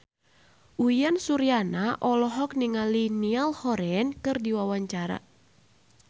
Uyan Suryana olohok ningali Niall Horran keur diwawancara